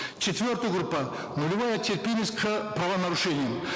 четвертая группа нулевая терпимость к правонарушениям